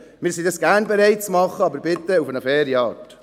Wir sind gerne bereit, dies zu tun, aber bitte auf eine faire Art.